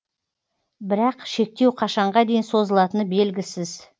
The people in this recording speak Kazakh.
бірақ шектеу қашанға дейін созылатыны белгісіз